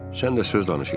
Sən də söz danışırsan.